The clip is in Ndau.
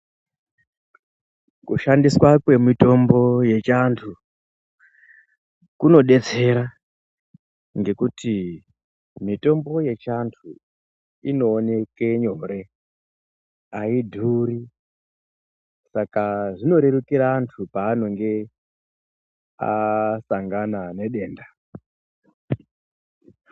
Kushandiswa kwemitombo yechiantu kunodetsera ngekuti mitombo yechiantu inoonekw nyore aidhuri saka zvinorerukire antu paanonge asangana nedenda.